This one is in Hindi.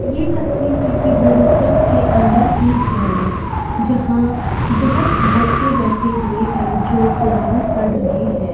ये तस्वीर किसी दरजगाह के अंदर की है जहां बहोत बच्चे बैठे हुए हैं जो कुरान पढ़ रहे हैं।